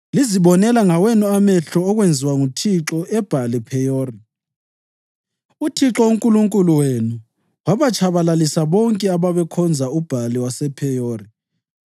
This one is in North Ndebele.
Lazibonela ngawenu amehlo okwenziwa nguThixo eBhali-Pheyori. UThixo uNkulunkulu wenu wabatshabalalisa bonke ababekhonza uBhali wasePheyori,